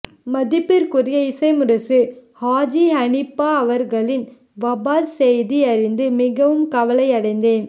மதிப்பிற்குரிய இசை முரசு ஹாஜி ஹனீபா அவர்களின் வபாத் செய்தி அறிந்து மிகவும் கவலை அடைந்தேன்